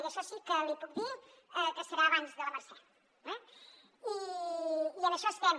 i això sí que li puc dir que serà abans de la mercè eh i en això estem